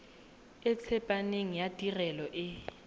e tsepameng ya tirelo e